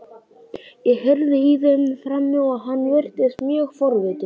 Ég heyrði í þeim frammi og hann virtist mjög forvitinn.